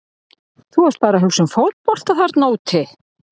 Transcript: Þú ert bara að hugsa um fótbolta þarna úti.